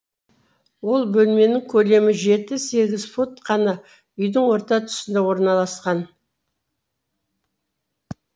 ол бөлменің көлемі жеті сегіз фут қана үйдің орта тұсында орналасқан